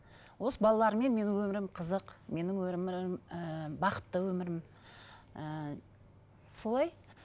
осы балалармен менің өмірім қызық менің өмірім ыыы бақытты өмірім ііі солай